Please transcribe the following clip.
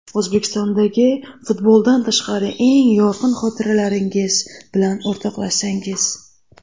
O‘zbekistondagi futboldan tashqari eng yorqin xotiralaringiz bilan o‘rtoqlashsangiz.